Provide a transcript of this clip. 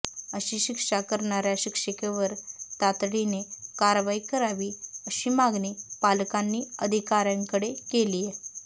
अशी शिक्षा करणाऱ्या शिक्षिकेवर तातडीने कारवाई करावी अशी मागणी पालकांनी अधिकाऱ्यांकडे केलीय